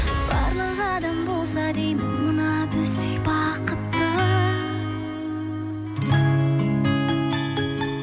барлық адам болса деймін мына біздей бақытты